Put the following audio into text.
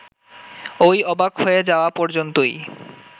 ওই অবাক হয়ে যাওয়া পর্যন্তই